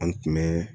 An tun bɛ